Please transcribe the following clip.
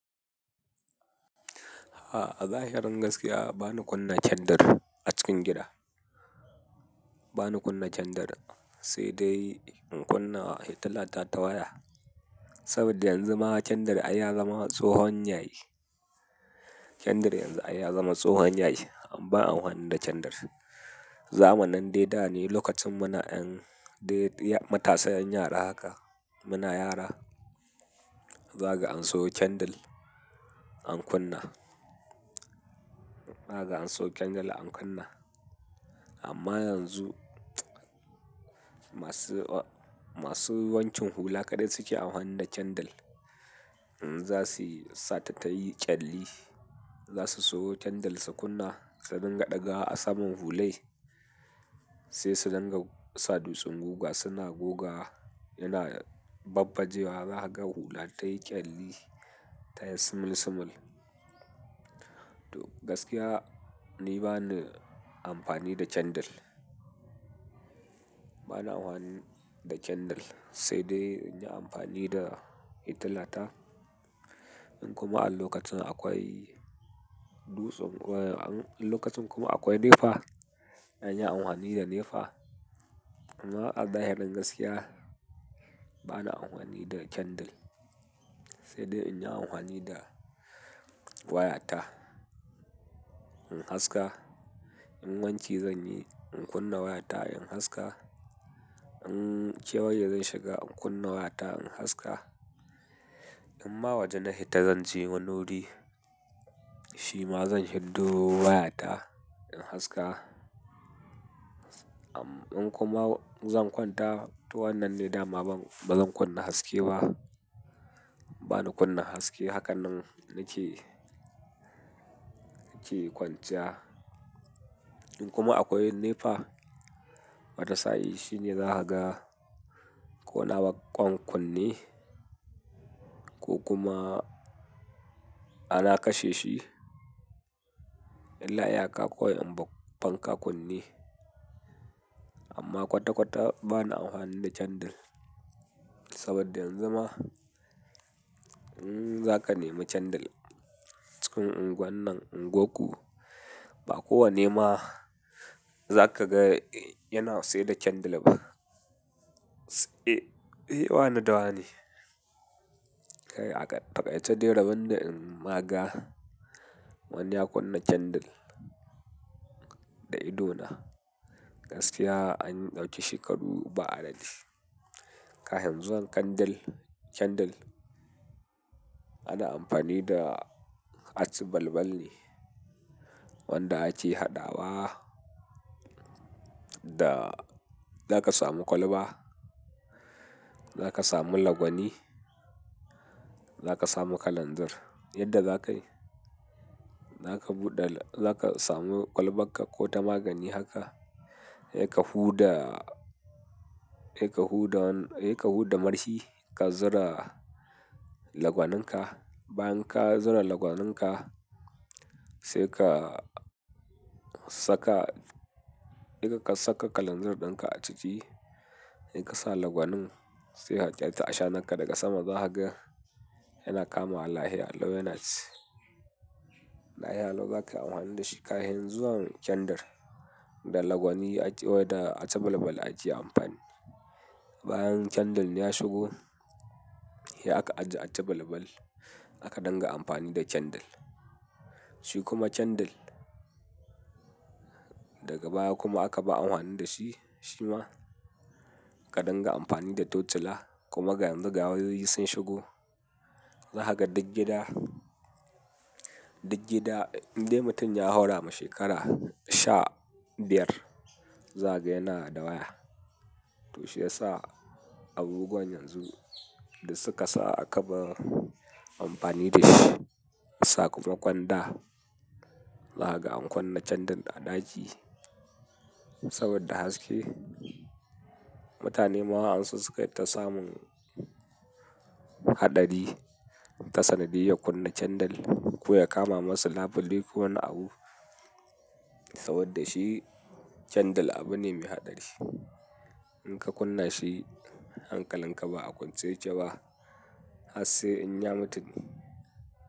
A zahirin gaskiya bana kunna candle a cikin gida. Bana kunna candle sai dai in kunna hitilata ta waya. Saboda yanzu ma candle aiya zama tsohon yayi. Candle yanzu ai ya zama tsohon yayi, ba a amfani da candle. Zamanin dai da ne lokacin muna yan dai matasa yan yara haka, muna yara, za ka ga ansiyo candle an kunna. Za ka an so candle an kunna. Amma yanzu, masu wankin hula kaɗai suke amfani da candle. In za su yi sata tayi kyalli, za su suyo candle su kunna sadin ga ɗiga wa a saman hulai sai su dangan sa dutsun guga suna gugawa yana babbajewa, za kaga hula tai kyalli, ta yi sumul sumul. To gaskiya ni ba na amfani da candle. Ba na amfani da candle sai dai in yi amfani da hitilata. In kuma a lokacin akwai dutsun, lokacin kuma akwai nefa, zanyi amfani da nefa. Amma a zahirin gaskiya bana amfani da candle sai dai in yi amfani da wayata. In haska, in wanki zanyi in kunna wayata in haska. In kewaye zan shiga in kunna wayata in haska. In ma waje na hita zan je wani wuri, shima zan hiddo wayata in haska. In kuma zan kwanta, to wannan ne dama ba zan kunna haske ba. Bana kunna haske, hakan nan nake, nake kwanciya. In kuma akwai nefa, mata sa'i shine za kaga ƙona ban ƙwan kunne ko kuma na kashe shi. Illa iyaka kawai in bar fanka kunne. Amma kwata kwata bana amfani da candle. Saboda yanzu ma in za ka nemi candle cikin unguwanan unguwanku, ba kowanne ma za ka ga yana sai da candle ba. Sai wane da wane. Takaice dai rabon da in maga wani ya kunna candle da idona. Gaskiya an ɗauka shekaru ba'adadi. Kafin zuwa candle, candle ana amfani da aci balbal ne. Wanda ake haɗawa, da za ka samu kwalba, za ka samu lagwani, za ka samu kalanzir. Yadda za kayi, za ka buɗe zaka samu kwalbanka ko ta magani haka, sai ka huda, marfi ka zira lagwaninka. Bayan ka zira lagwaninka, sai ka saka kalanzir ɗinka a ciki, yai ka sa lagwanin sai kyasta ashanan ka daga sama za kaga, yana kamawa lahiye lau yana ci. Lafiya lau zakayi amfani da shi. Kafin zuwan candle da lagwani da aci balbal ake amfani. Bayan candle ya shigo, sai aka ajiye aci balbal aka dinga amfani da candle. Shi kuma candle daga baya kuma aka bar amfani da shi shima aka dingan amfani da tocila kuma ga yanzu ga wayoyi sun shigo. Za ka ga diggida, diggida indai mutum ya haura ma shekara sha biyar, za ka ga yana da waya. To shi ya sa abubuwan yanzu da suka sa aka bar amfani da shi. Saka ma kwan da za ka an kunna candle a ɗaki saboda haske. Mutane ma wa'an su sukan ta samun haɗari ta sanadiyya kunna candle ko ya kama masu labule ko wani abu. Saboda shi candle abu ne mai haɗari. In ka kunna shi hankalin ka ba a kwance yake ba, harse in ya mutu ne.